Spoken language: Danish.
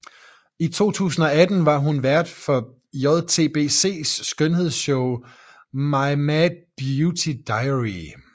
I april 2018 var hun vært for JTBCs skønhedsshow My Mad Beauty Diary